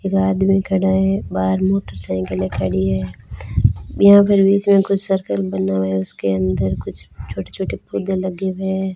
एक आदमी खड़ा है बाहर मोटरसाइकिलें खड़ी है यहां पर बीच मे कुछ सर्कल बना हुआ है उसके अंदर कुछ छोटे छोटे पौधे लगे हुए है।